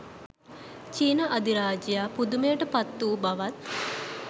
චීන අධිරාජයා පුදුමයට පත් වූ බවත්